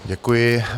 Děkuji.